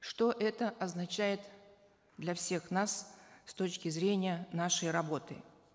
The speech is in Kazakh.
что это означает для всех нас с точки зрения нашей работы